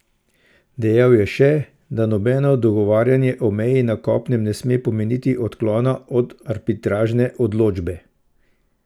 Dejal je še, da nobeno dogovarjanje o meji na kopnem ne sme pomeniti odklona od arbitražne odločbe.